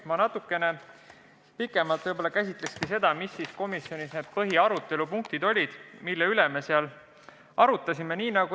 Ma natukene pikemalt käsitlen seda, mis siis olid komisjonis põhilised punktid, mida me arutasime.